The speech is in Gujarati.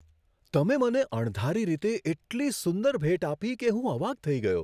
તમે મને અણધારી રીતે એટલી સુંદર ભેટ આપી કે હું અવાક થઈ ગયો.